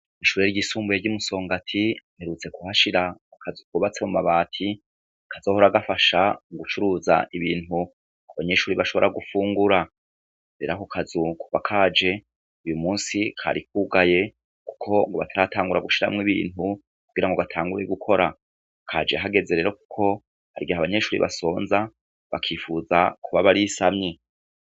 Kw'ishure ryisumbuye ry'i Musongati, baherutse kuhashira akazu kubatse mu mabati, kazohora gafasha mu gucuruza ibintu, abanyeshure bashobora gufungura. Rero ako kazu kuva kaje, uwu munsi kari kugaye, kuko ngo bataratangura gushiramwo ibintu, kugira ngo batangure gukora. Kaje hageze rero kuko, hari igihe abanyeshure batangura gusonza, bakifuza kuba barisamye.